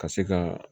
Ka se ka